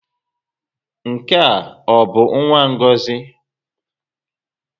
Nke ọ bụ nwa Ngozi?